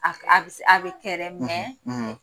A be se a bɛ kɛ yɛrɛ